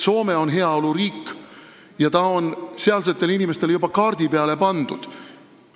Soome on heaoluriik, mis on sealsetel inimestel juba kaardi peale pandud.